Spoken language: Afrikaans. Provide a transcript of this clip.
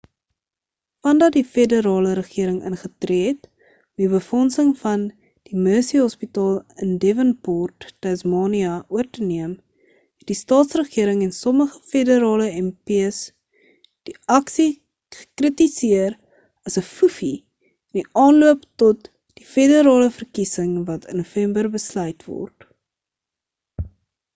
vandat die federale regering ingetree het om die befondsing van die mersey hospitaal in devonport tasmania oor te neem het die staatsregering en sommige federale mps die aksie gekritiseer as 'n foefie in die aanloop tot die federale verkiesing wat in november besluit word